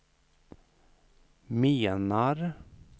menar